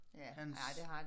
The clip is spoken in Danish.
Hans